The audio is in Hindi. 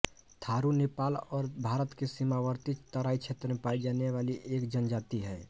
थारू नेपाल और भारत के सीमावर्ती तराई क्षेत्र में पायी जाने वाली एक जनजाति है